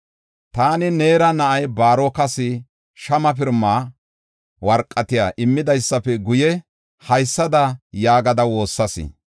Taani Neera na7aa Baarokas shama pirimaa warqatiya immidaape guye, haysada yaagada woossas.